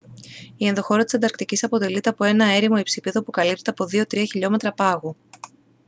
η ενδοχώρα της ανταρκτικής αποτελείται από ένα έρημο υψίπεδο που καλύπτεται από 2-3 χιλιόμετρα πάγου